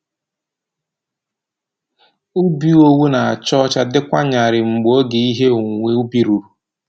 Ubi owu na-acha ọcha dịkwa nyarịị mgbe oge ihe owuwe ubi ruru.